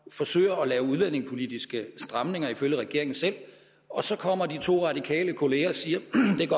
forsøger at lave udlændingepolitiske stramninger ifølge regeringen selv og så kommer de to radikale kolleger og siger